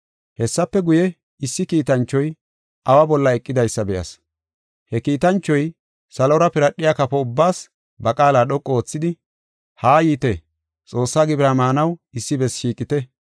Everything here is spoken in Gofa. Hessafe guye, issi kiitanchoy awa bolla eqidaysa be7as. He kiitanchoy salora piradhiya kafo ubbaas ba qaala dhoqu oothidi, “Haa yiite! Xoossaa gibira maanaw issi bessi shiiqite.